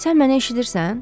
Sən mənə eşidirsən?